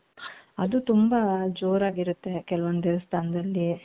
ಅದು ತುಂಬಾ ಜೋರಾಗಿರುತ್ತೆ ಕೆಲವೊಂದು ದೇವಸ್ಥಾನದಲ್ಲಿ .